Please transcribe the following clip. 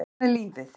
En svona er lífið